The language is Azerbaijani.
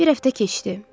Bir həftə keçdi.